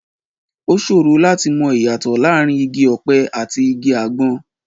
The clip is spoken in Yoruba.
Ó ṣòro láti mọ ìyàtọ̀ láàrin igi ọ̀pẹ àti igi àgbọn.